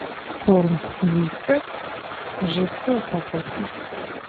корм вискас жидкая упаковка